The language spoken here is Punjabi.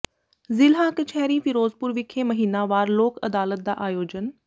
ਜ਼ਿਲ੍ਹਾ ਕਚਹਿਰੀ ਫਿਰੋਜ਼ਪੁਰ ਵਿਖੇ ਮਹੀਨਾਵਾਰ ਲੋਕ ਅਦਾਲਤ ਦਾ ਆਯੋਜਨ